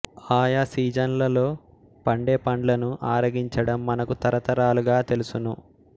ఆయా సీజన్లలో పండే పండ్లను ఆరగించడం మనకు తరతరాలుగా తెలుసును